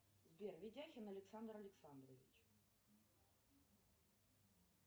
сбер витяхин александр александрович